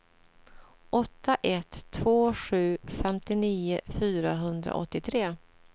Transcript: åtta ett två sju femtionio fyrahundraåttiotre